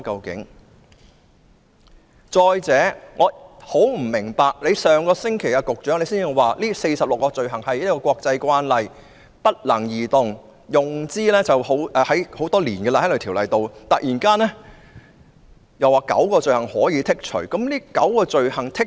局長上星期表示這46項罪類根據國際慣例不能剔除，而且《逃犯條例》多年來行之有效，但他卻突然表示可以剔除9項罪類。